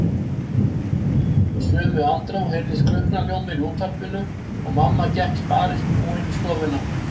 Í sömu andrá heyrðist klukknahljómur í útvarpinu og mamma gekk sparibúin í stofuna.